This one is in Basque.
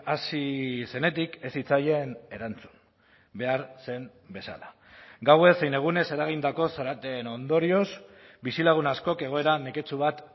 hasi zenetik ez zitzaien erantzun behar zen bezala gauez zein egunez eragindako zaraten ondorioz bizilagun askok egoera neketsu bat